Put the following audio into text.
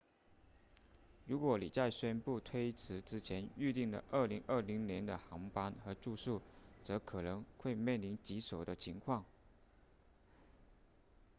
如果你在宣布推迟之前预订了2020年的航班和住宿则可能会面临棘手的情况